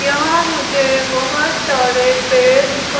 यहां मुझे बहुत सारे पेड़ दिखा--